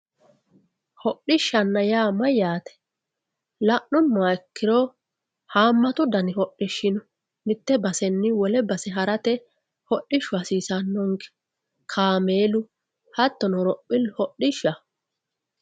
hodhishshanna yaa mayyaate la'nummoha ikkiro haammatu dani hodhishshi no mitte basenni wole base harate hodhishshu hasiisannonke kaameelu hattono horophillu hodhishshaho